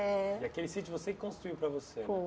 É. E aquele sítio você que construiu para você?